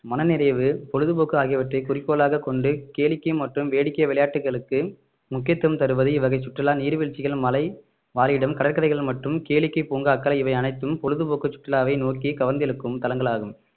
மனநிறைவு பொழுதுபோக்கு ஆகியவற்றை குறிக்கோளாகக் கொண்டு கேளிக்கை மற்றும் வேடிக்கை விளையாட்டுகளுக்கு முக்கியத்துவம் தருவது இவ்வகை சுற்றுலா நீர்வீழ்ச்சிகள் மலை வாழிடம் கடற்கரைகள் மற்றும் கேளிக்கை பூங்காக்கள் இவை அனைத்தும் பொழுதுபோக்கு சுற்றுலாவை நோக்கி கவர்ந்து இழுக்கும் தளங்கள் ஆகும்